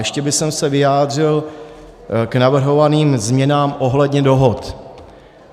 Ještě bych se vyjádřil k navrhovaným změnám ohledně dohod.